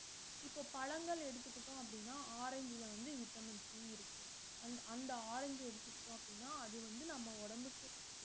இப்ப பழங்கள் எடுத்துகிட்டோம் அப்டினா ஆரஞ்சுல வந்து விட்டமின் C இருக்கு அந்த அந்த ஆரஞ்சு அஹ் எடுத்துகிட்டோம் அப்டினா அது வந்து நம்ம உடம்புக்கு